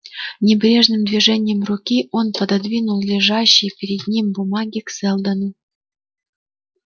небрежным движением руки он пододвинул лежащие перед ним бумаги к сэлдону